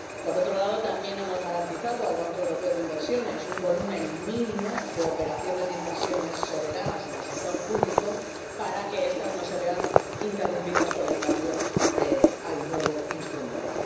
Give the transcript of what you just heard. Por otro lado, también hemos garantizado al Banco Europeo de Inversiones un volumen mínimo de operaciones de inversiones soberanas en el sector público para que estas no se vean interrumpidas por el cambio al nuevo instrumento.